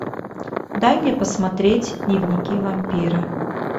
дай мне посмотреть дневники вампира